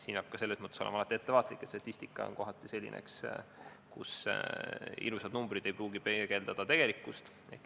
Peab olema selles mõttes ettevaatlik, sest statistika on kohati selline, et ilusad numbrid ei pruugi peegeldada tegelikkust.